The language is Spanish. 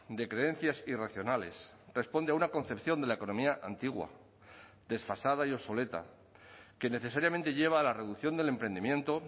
de creencias irracionales responde a una concepción de la economía antigua desfasada y obsoleta que necesariamente lleva a la reducción del emprendimiento